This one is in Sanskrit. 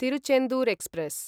तिरुचेन्दूर् एक्स्प्रेस्